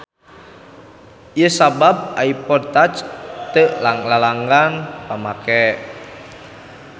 Ieu sabab iPod touch teu lalanggan pamake.